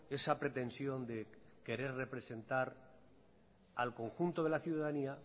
esa pretensión de querer representar al conjunto de la ciudadanía